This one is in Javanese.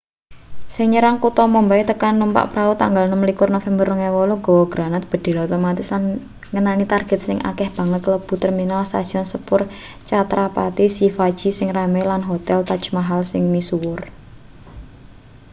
sing nyerang kutha mumbai tekan numpak prau tanggal 26 november 2008 gawa granat bedhil otomatis lan ngenani target sing akeh banget kalebu terminal stasiun sepur chhatrapati shivaji sing rame lan hotel taj maahal sing misuwur